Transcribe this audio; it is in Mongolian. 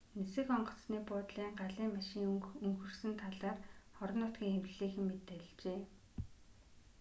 нисэх онгоцны буудлын галын машин өнхөрсөн талаар орон нутгийн хэвлэлийнхэн мэдээлжээ